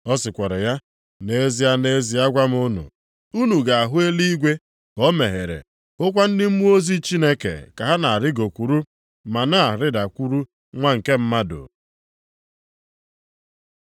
Ọ sịkwara ya, “Nʼezie, nʼezie agwa m unu, unu ga-ahụ eluigwe ka o meghere hụkwa ndị mmụọ ozi Chineke ka ha na-arịgokwuru, ma na-arịdakwuru Nwa nke Mmadụ.”